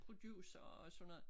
Producere og sådan noget